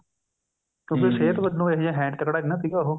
ਸਿਹਤ ਵਜੋ ਇਹ ਜਾ ਹੈਨੀ ਤੱਕੜਾ ਨੀ ਸੀਗਾ ਉਹ